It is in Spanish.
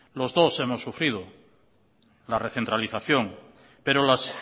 los dos hemos sufrido la recentralización pero las